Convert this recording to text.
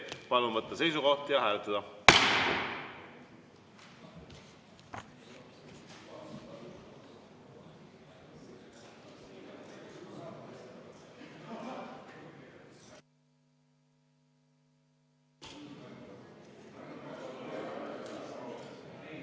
Palun võtta seisukoht ja hääletada!